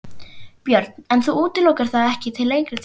Björn: En þú útilokar það ekki til lengri tíma?